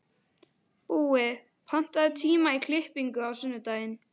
Búi, pantaðu tíma í klippingu á sunnudaginn.